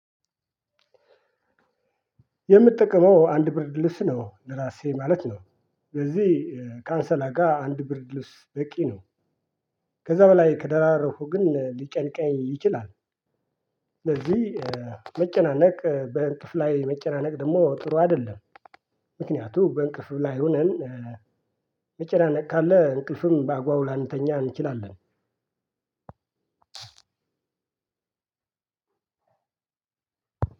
የምጠቀመው አንድ ብርድልብስ ነው ለራሴ ማለት ነው። ስለዚህ ከአንሶላጋ አንድ ብርድልብስ በቂ ነው። ከዛ በላይ ከደራረብኩ ግን ሊጨንቀኝ ይችላል። ስለዚህ መጨናነቅ በእንቅልፍ ላይ መጨናነቅ ደግሞ ጥሩ አይደለም። ምክንያቱ በእንቅልፍ ላይ ሆነን መጨናነቅ ካለ እንቅልፍም በአግባቡ ላንተኛ እንችላለን።